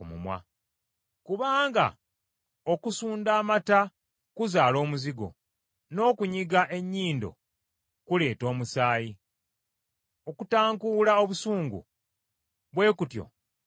Kubanga okusunda amata kuzaala omuzigo, n’okunyiga ennyindo kuleeta omusaayi, okutankuula obusungu, bwe kutyo kuleeta entalo.